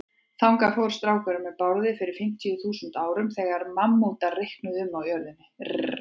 Þangað fór strákurinn með Bárði fyrir fimmtíu þúsund árum, þegar mammútar reikuðu um á jörðinni.